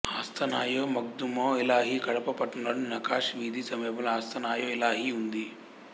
ఆస్తానయె మగ్దూమె ఇలాహి కడప పట్టణంలోని నకాష్ వీధి సమీపంలో ఆస్తానయె ఇలాహి ఉంది